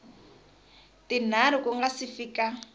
tinharhu ku nga si fika